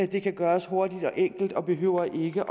det kan gøres hurtigt og enkelt og behøver ikke